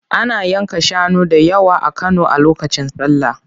Ana yanka shanu da yawa a Kano a lokacin sallah.